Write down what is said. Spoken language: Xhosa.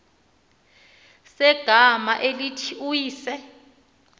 segama elithi uyise